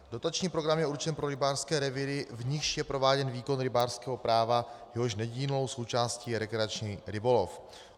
Dotační program je určen pro rybářské revíry, v nichž je prováděn výkon rybářského práva, jehož nedílnou součástí je rekreační rybolov.